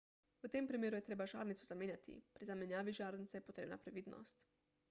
v tem primeru je treba žarnico zamenjati pri zamenjavi žarnice je potrebna previdnost